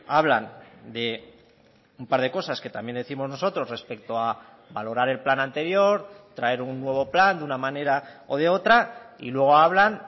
hablan de un par de cosas que también décimos nosotros respecto a valorar el plan anterior traer un nuevo plan de una manera o de otra y luego hablan